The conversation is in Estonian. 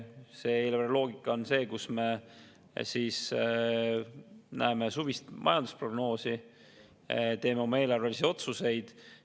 Eelarve loogika on see, kus me suvist majandusprognoosi ja teeme oma eelarvelisi otsuseid.